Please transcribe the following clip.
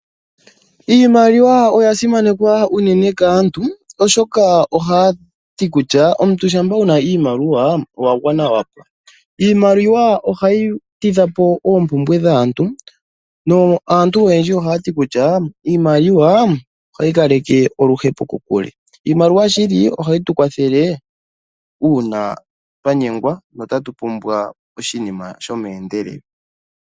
Iimaliwa oya simana unene kaantu oshoka ohaya ti kutya omuntu shampa wuna iimaliwa, owa gwana wapwa. Iimaliwa ohayi tidha po oompumbwe dhaantu aantu oyendji ohaya ti kutya iimaliwa ohayi kaleke oluhepo kokule. Iimaliwa ohayi tu kwathele uuna twanyengwa notatu pumbwa oshinima shomeendelelo.